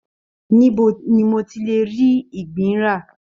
Níbo ni mo tí le rí ìgbín ra?